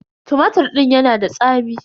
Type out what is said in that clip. Tumatir din ya na da tsami.